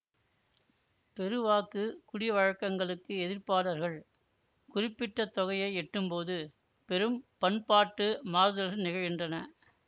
பெருவாக்கு குடிவழக்கங்களுக்கு எதிர்ப்பாளர்கள் குறிப்பிட்ட தொகையை எட்டும்போது பெரும் பண்பாட்டு மாறுதல்கள் நிகழ்கின்றன